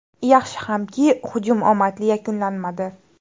Yaxshi hamki, hujum omadli yakunlanmadi.